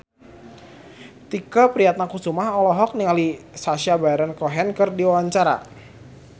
Tike Priatnakusuma olohok ningali Sacha Baron Cohen keur diwawancara